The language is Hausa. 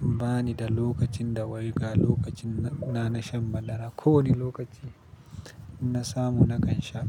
Bani da lokacin da wai ga lokacin na na shan madara. Ko wane lokaci in na samu nakan sha.